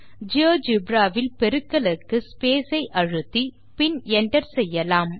GeoGebra வில் பெருக்கலுக்கு space ஐ அழுத்தி பின் enter செய்யலாம்